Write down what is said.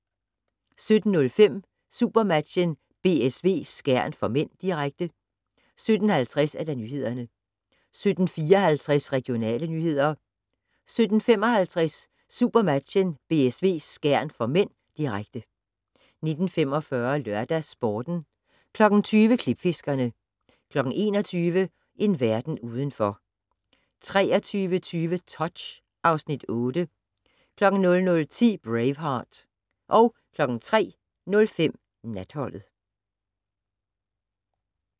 17:05: SuperMatchen: BSV-Skjern (m), direkte 17:50: Nyhederne 17:54: Regionale nyheder 17:55: SuperMatchen: BSV-Skjern (m), direkte 19:45: LørdagsSporten 20:00: Klipfiskerne 21:00: En verden udenfor 23:20: Touch (Afs. 8) 00:10: Braveheart 03:05: Natholdet